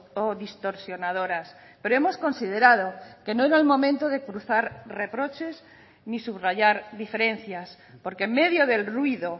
o distorsionadoras pero hemos considerado que no era el momento de cruzar reproches ni subrayar diferencias porque en medio del ruido